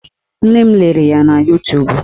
Nne m lere ya na Yutubu